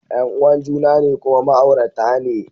Yan uwan juna ne kuma ma'aurata ne